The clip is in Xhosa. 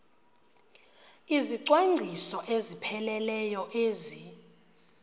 izicwangciso ezipheleleyo ezi